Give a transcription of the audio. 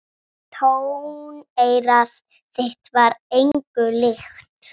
Tóneyra þitt var engu líkt.